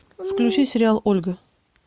включи сериал ольга